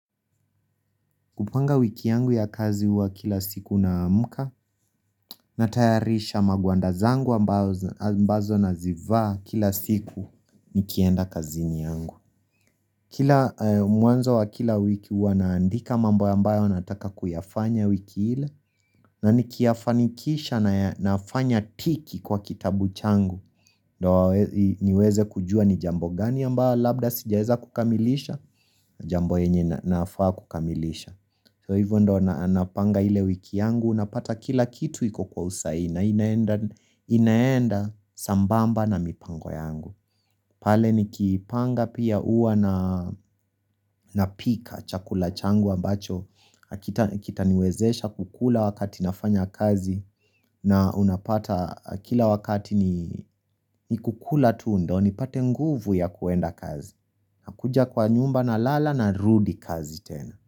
Kupanga wiki yangu yakazi huwa kilasiku naamka natayarisha magwanda zangu ambazo nazivaa kilasiku nikienda kazini yangu kila mwanzo wa kila wiki huwa naandika mambo ambayo nataka kuyafanya wiki ile na nikiyafanikisha nafanya tiki kwa kitabu changu niweze kujua ni jambo gani ambao labda sijaeza kukamilisha jambo enye nafaa kukamilisha so hivyo ndo napanga hile wiki yangu napata kilakitu iko kwa usaii na inaenda sambamba na mipango yangu pale nikipanga pia huwa napika chakula changu ambacho kitaniwezesha kukula wakati nafanya kazi na unapata kila wakati ni kukula tu ndo nipate nguvu ya kuenda kazi nakuja kwa nyumba naala narudi kazi tena.